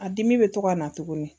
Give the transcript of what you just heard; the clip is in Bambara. A dimi bɛ to ka na tuguni